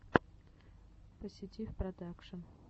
поситив продакшн